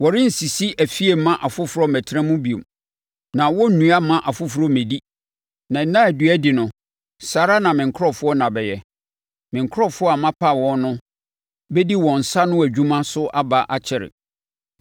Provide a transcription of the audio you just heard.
Wɔrensisi afie mma afoforɔ mmɛtena mu bio, na wɔrennua mma afoforɔ mmɛdi. Na nna a nnua di no, saa ara na me nkurɔfoɔ nna bɛyɛ; me nkurɔfoɔ a mapa wɔn no bɛdi wɔn nsa ano adwuma so aba akyɛre.